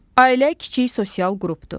Ailə kiçik sosial qrupdur.